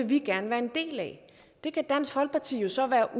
vi gerne være en del af det kan dansk folkeparti jo så være